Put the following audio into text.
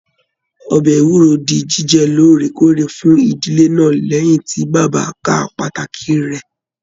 Ọbẹ ewúro dì jíjẹ lóòrèkóòrè fún ìdílé náà lẹyìn tí bàbá ká pàtàkì rẹ.